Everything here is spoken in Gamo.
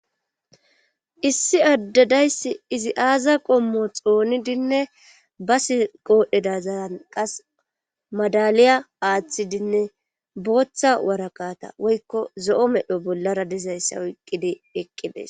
issi addadayssi izi aaza qommo xoonidinne basi qoodhdheda zayan qas madaliya aaththidinne booththa warakata woykko zo7o medho bollara dizayssa oyqqidi eqqibes